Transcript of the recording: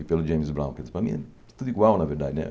E pelo James Brown, quer dizer, para mim é tudo igual, na verdade, né?